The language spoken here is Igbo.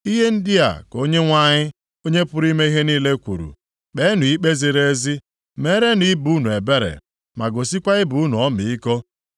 “Ihe ndị a ka Onyenwe anyị, Onye pụrụ ime ihe niile kwuru, ‘Kpeenụ ikpe ziri ezi, meerenụ ibe unu ebere, ma gosikwa ibe unu ọmịiko.